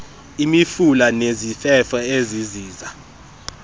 imifula nezifefo eziziza